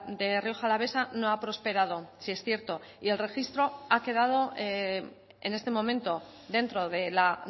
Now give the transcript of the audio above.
de rioja alavesa no ha prosperado sí es cierto y el registro ha quedado en este momento dentro de la